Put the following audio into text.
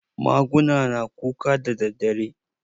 Maguna na kuka daddadare?